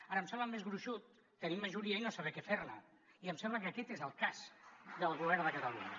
ara em sembla més gruixut tenir majoria i no saber què fer ne i em sembla que aquest és el cas del govern de catalunya